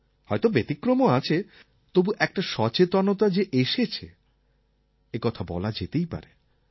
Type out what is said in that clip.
হয়ত ব্যতিক্রমও আছে তবু একটা সচেতনতা যে এসেছে একথা বলা যেতেই পারে